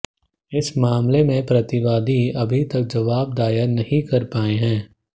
इस मामले में प्रतिवादी अभी तक जवाब दायर नहीं कर पाए हैं